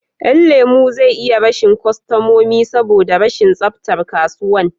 Yan lemo zai iya rashin kostamomi saboda rashin tsaftar kasuwan